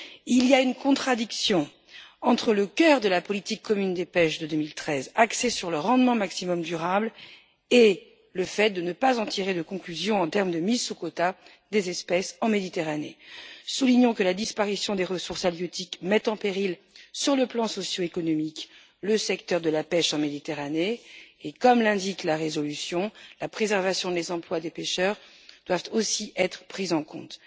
Il y a une contradiction entre le cœur de la politique commune de la pêche de 2013, axée sur le rendement maximum durable, et le fait de ne pas en tirer de conclusions pour la mise sous quota des espèces en Méditerranée. Soulignons que la disparition des ressources halieutiques met en péril, sur le plan socio-économique, le secteur de la pêche en Méditerranée et, comme l'indique la résolution, la préservation des emplois des pêcheurs doit aussi être prise en compte,